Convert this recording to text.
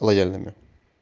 лояльными